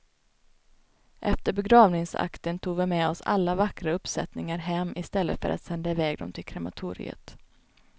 Efter begravningsakten tog vi med oss alla vackra uppsättningar hem i stället för att sända iväg dem till krematoriet.